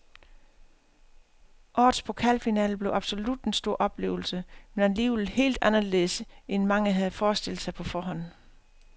Årets pokalfinale blev absolut en stor oplevelse, men alligevel helt anderledes end mange havde forestillet sig på forhånd.